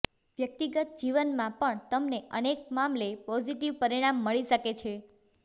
વ્યક્તિગત જીવનમાં પણ તમને અનેક મામલે પોઝિટિવ પરિણામ મળી શકે છે